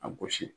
A gosi